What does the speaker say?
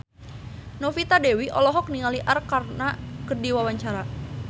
Novita Dewi olohok ningali Arkarna keur diwawancara